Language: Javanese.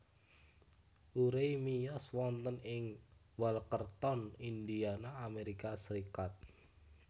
Urey miyos wonten ing Walkerton Indiana Amerika Serikat